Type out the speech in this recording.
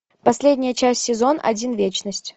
последняя часть сезон один вечность